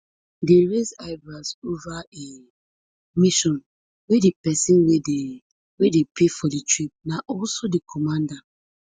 dey raise eyebrows ova a mission wia di pesin wey dey wey dey pay for di trip na also di commander